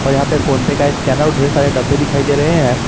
और यहां पे फोन पेय का स्कैनर और ढेर सारे डब्बे दिखाई दे रहे हैं।